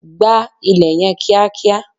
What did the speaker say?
gbá ilẹ̀ yen kiakia!